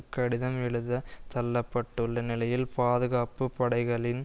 கடிதம் எழுதத் தள்ள பட்டுள்ள நிலையில் பாதுகாப்பு படைகளின்